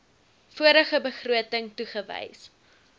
vorige begroting toegewys